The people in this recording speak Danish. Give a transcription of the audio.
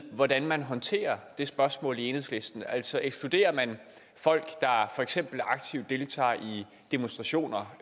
hvordan man håndterer det spørgsmål i enhedslisten altså ekskluderer man folk der for eksempel aktivt deltager i demonstrationer